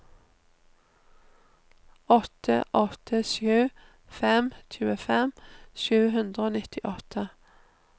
åtte åtte sju fem tjuefem sju hundre og nittiåtte